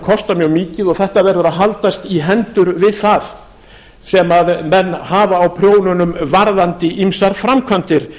kosta mjög mikið og þetta verður að haldast í hendur við það sem menn hafa á prjónunum varðandi ýmsar framkvæmdir